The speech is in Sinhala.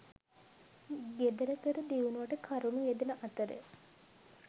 ගෙදරදොර දියුණුවට කරුණු යෙදෙන අතර